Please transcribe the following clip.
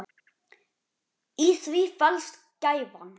Í því felst gæfan.